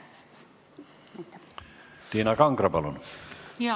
Tiina Kangro, palun!